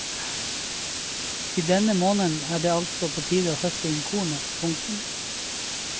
I denne måneden er det altså på tide å høste inn kornet. punktum